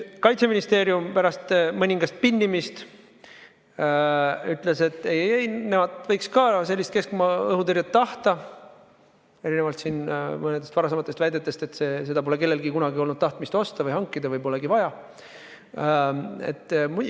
Kaitseministeerium pärast mõningast pinnimist ütles, et ei-ei-ei, nemad võiks ka sellist keskmaa-õhutõrjet tahta, seda erinevalt mõnedest varasematest väidetest, et seda pole kellelgi kunagi olnud tahtmist osta või hankida või et seda polegi vaja.